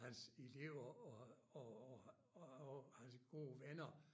Hans elever og og og og og hans gode venner